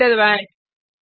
enter दबाएँ